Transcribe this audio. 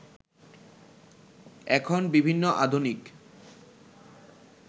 এখন বিভিন্ন আধুনিক